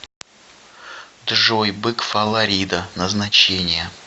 джой бык фаларида назначение